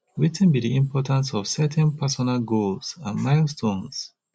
wetin be di importantce of setting personal goals and milestones